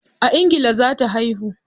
A ingila za ta haihu.